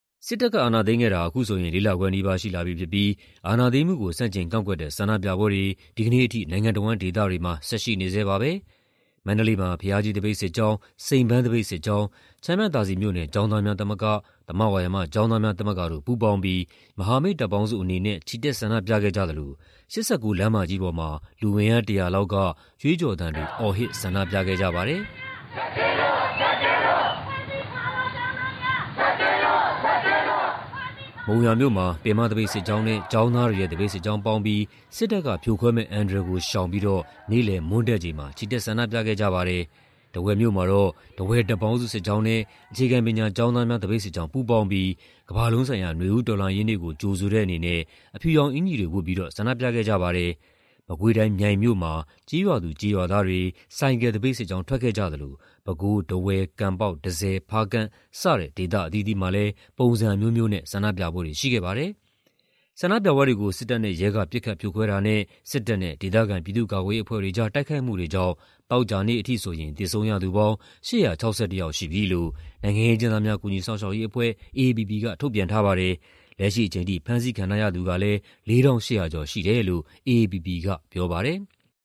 စစ်တပ်က အာဏာသိမ်းခဲ့တာ အခုဆိုရင် ၄ လခွဲနီးပါး ရှိလာပြီဖြစ်ပြီး အာဏာသိမ်းမှုကို ဆန့်ကျင်ကန့်ကွက်တဲ့ ဆန္ဒပြပွဲတွေ ဒီကနေ့အထိ နိုင်ငံတဝန်း ဒေသတွေမှာ ဆက်ရှိနေဆဲပါပဲ။ မန္တလေးမှာ ဘုရားကြီး သပိတ်စစ်ကြောင်း၊ စိန်ပန်း သပိတ်စစ်ကြောင်း၊ ချမ်းမြသာစည်မြို့နယ် ကျောင်းသားများသမဂ္ဂ၊ သမဝါယမ ကျောင်းသားများသမဂ္ဂတို့ ပူးပေါင်းပြီး မဟာမိတ်တပ်ပေါင်းစုအနေနဲ့ ချီတက် ဆန္ဒပြခဲ့ကြသလို ၈၉ လမ်းမကြီးပေါ်မှာ လူအင်အား ၁၀၀ လောက်က ကြွေးကြော်သံတွေ အော်ဟစ် ဆန္ဒပြခဲ့ကြပါတယ်။ မုံရွာမြို့မှာ ပင်မသပိတ်စစ်ကြောင်းနဲ့ ကျောင်းသားတွေရဲ့ သပိတ်စစ်ကြောင်းပေါင်းပြီး စစ်တပ်ကဖြိုခွဲမယ့် အန္တရာယ်ကို ရှောင်ပြီးတော့ နေ့လယ် မွန်းတည့်ချိန်မှာ ချီတက် ဆန္ဒပြခဲ့ကြပါတယ်။ ထားဝယ်မြို့မှာတော့ ထားဝယ်တပ်ပေါင်းစု စစ်ကြောင်းနဲ့ အခြေခံပညာကျောင်းသားများ သပိတ်စစ်ကြောင်း ပူးပေါင်းပြီး ကမ္ဘာလုံးဆိုင်ရာ နွေဦးတော်လှန်ရေးနေ့ကို ကြိုဆိုတဲ့အနေနဲ့ အဖြူရောင်အင်္ကျီတွေ ဝတ်ပြီးတော့ ဆန္ဒပြခဲ့ကြပါတယ်။ မကွေးတိုင်း၊ မြိုင်မြို့မှာ ကျေးရွာသူ ကျေးရွာသားတွေ ဆိုင်ကယ်သပိတ်စစ်ကြောင်း ထွက်ခဲ့ကြသလို ပဲခူး၊ ထားဝယ်၊ ကံပေါက်၊ တန့်ဆည်၊ ဖားကန့် စတဲ့ ဒေသအသီးသီးမှာလည်း ပုံစံအမျိုးမျိုးနဲ့ ဆန္ဒပြပွဲတွေ ရှိခဲ့ပါတယ်။ ဆန္ဒပြပွဲတွေကို စစ်တပ်နဲ့ရဲက ပစ်ခတ်ဖြိုခွဲတာနဲ့ စစ်တပ်နဲ့ ဒေသခံ ပြည်သူ့ကာကွယ်ရေးအဖွဲ့တွေကြား တိုက်ခိုက်မှုတွေကြောင့် သောကြာနေ့အထိဆိုရင် သေဆုံးရသူပေါင်း ၈၆၁ ယောက်ရှိပြီလို့ နိုင်ငံရေးအကျဉ်းသားများ ကူညီစောင့်ရှောက်ရေးအဖွဲ့ က ထုတ်ပြန်ထားပါတယ်။ လက်ရှိအချိန်ထိ ဖမ်းဆီးခံထားရသူကလည်း ၄,၈၀၀ ကျော်ရှိတယ်လို့ AAPP က ပြောပါတယ်။